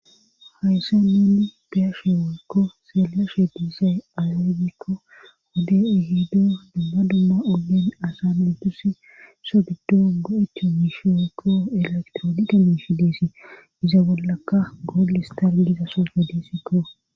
hayssa nenni beyashe woykko seelashe diisay alogikko hode ihido dumma dumma olen asa nidusi sodido go7echo miishi woykko elektrooniqa miishi deesi iza bollaka bolis tar giza sose disikko